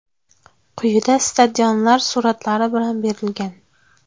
Quyida stadionlar suratlari bilan berilgan.